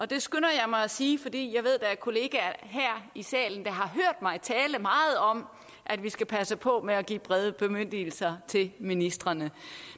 det skynder jeg mig at sige fordi jeg ved der er kolleger her i salen der har hørt mig tale meget om at vi skal passe på med at give brede bemyndigelser til ministrene